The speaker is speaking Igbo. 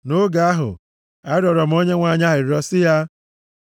Nʼoge ahụ, arịrịọ m Onyenwe anyị arịrịọ sị ya,